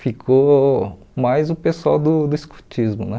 Ficou mais o pessoal do do escotismo né.